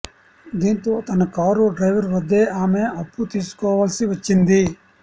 దీంతో తన car driver వద్దే ఆమె అప్పు తీసుకోవాల్సి వచ్చింది